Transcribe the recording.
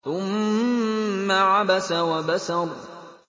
ثُمَّ عَبَسَ وَبَسَرَ